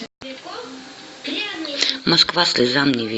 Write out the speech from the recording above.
москва слезам не верит